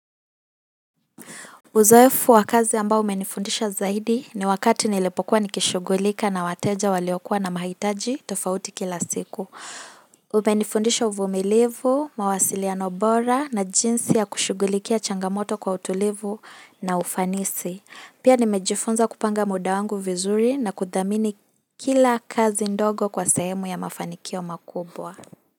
Uzoefu wa kazi ambao umenifundisha zaidi ni wakati nilipokuwa nikishughulika na wateja waliokuwa na mahitaji tofauti kila siku. Umenifundisha uvumilivu, mawasiliano bora na jinsi ya kushughulikia changamoto kwa utulivu na ufanisi. Pia nimejifunza kupanga muda wangu vizuri na kudhamini kila kazi ndogo kwa sehemu ya mafanikio makubwa.